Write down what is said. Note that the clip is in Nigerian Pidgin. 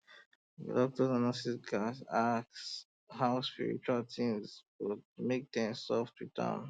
doctors and nurses gats ask about spiritual things but make dem soft with am